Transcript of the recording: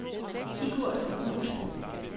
Sigurd Wulff